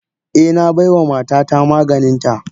Eh, na baiwa matata maganinta.